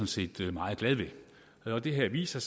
set meget glad ved og det her viser